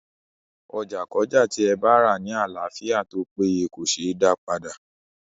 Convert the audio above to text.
Ọjà kọ́jà tí ẹ bárà ní àlàáfíà tópéye kòseé dá padà.